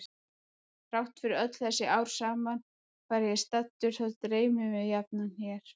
Þrátt fyrir öll þessi ár sama hvar ég er staddur þá dreymir mig jafnan hér.